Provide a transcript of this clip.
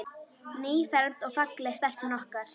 Nýfermd og falleg stelpan okkar.